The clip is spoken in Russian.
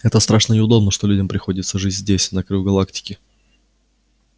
это страшно неудобно что людям приходится жить здесь на краю галактики